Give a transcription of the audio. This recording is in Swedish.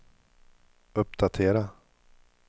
uppdatera